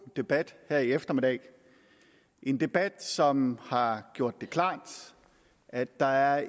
debat her i eftermiddag en debat som har gjort det klart at der er